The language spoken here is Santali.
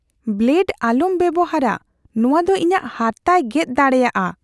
ᱵᱞᱮᱰ ᱟᱞᱚᱢ ᱵᱮᱵᱚᱦᱟᱨᱼᱟ ᱾ ᱱᱚᱣᱟ ᱫᱚ ᱤᱧᱟᱜ ᱦᱟᱨᱛᱟᱭ ᱜᱮᱫ ᱫᱟᱲᱮᱭᱟᱜᱼᱟ ᱾